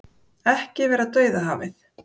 Ekki vera Dauðahafið